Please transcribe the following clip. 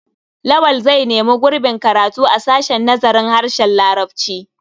Lawal zai nemi gurbin karatu a sashen nazarin harshen larabci.